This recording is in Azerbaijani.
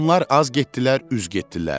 Onlar az getdilər, üz getdilər.